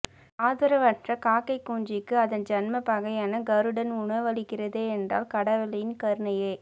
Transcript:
ஆதரவற்ற காக்கைக் குஞ்சுக்கு அதன் ஜன்மப் பகையான கருடன் உணவளிக்கிறதென்றால் கடவுளின் கருணையை